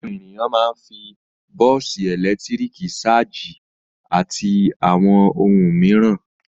Àwọn ènìyàn máa ń fi bọ́ọ́sì ẹ̀lẹ́tíríkì ṣájì àti àwọn ohun mìíràn.